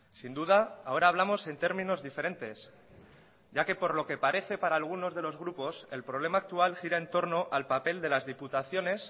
sin duda ahora hablamos en términos diferentes ya que por lo que parece para algunos de los grupos el problema actual gira en torno al papel de las diputaciones